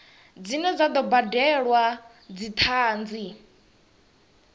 dzine dza do badelwa dzithanzi